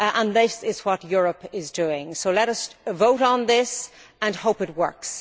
This is what Europe is doing, so let us vote on this and hope that it works.